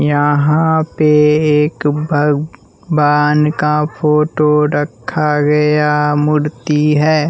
यहाँ पे एक भग वान का फोटो रखा गया मूर्ति है।